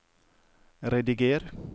rediger